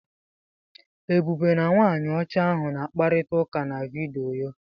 Ebube na nwaanyị ọcha ahụ na-akparịta ụka na vidiyo.